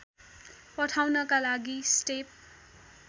पठाउनका लागि स्टेप